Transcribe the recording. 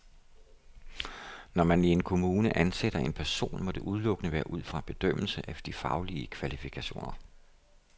Når man i en kommune ansætter en person, må det udelukkende være ud fra en bedømmelse af de faglige kvalifikationer.